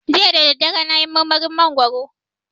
Jiya dadadare nayi marmarin mangwaro